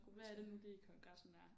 Hvad er det nu lige Kongressen er